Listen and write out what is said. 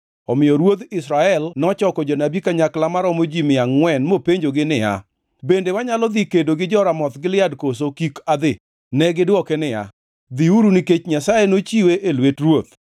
Omiyo ruodh Israel nochoko jonabi kanyakla maromo ji mia angʼwen mopenjogi niya, “Bende wanyalo dhi kedo gi jo-Ramoth Gilead koso kik adhi?” Negidwoke niya, “Dhiuru nikech Nyasaye nochiwe e lwet ruoth.”